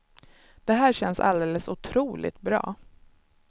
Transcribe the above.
Det här känns alldeles otroligt bra.